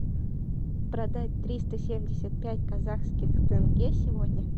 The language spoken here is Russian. продать триста семьдесят пять казахских тенге сегодня